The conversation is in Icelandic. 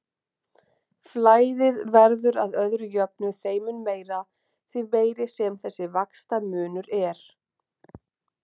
Flæðið verður að öðru jöfnu þeim mun meira, því meiri sem þessi vaxtamunur er.